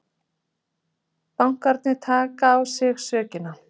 Bankarnir taki á sig sökina